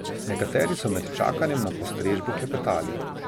Nekateri so med čakanjem na postrežbo klepetali.